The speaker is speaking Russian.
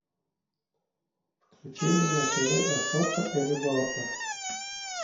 включи мне на тв охота и рыбалка